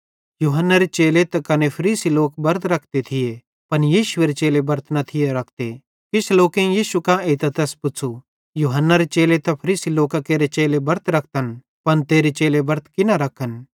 यूहन्नारे चेले त कने फरीसी लोक बरत रखते थिये पन यीशुएरे चेले बरत न थिये रखते किछ लोकेईं यीशु कां एइतां तैस पुच़्छ़ू यूहन्नारे चेले ते फरीसी लोकां केरे चेले बरत रखतन पन तेरे चेले बरत की न रखन